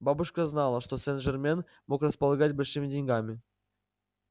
бабушка знала что сен-жермен мог располагать большими деньгами